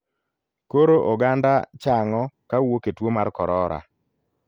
Koro oganda chang'o kawuok e tuo mar korora.